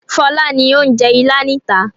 Fọlá ni ó ń jẹ Ìlá níta.